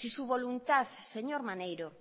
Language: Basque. si su voluntad señor maneiro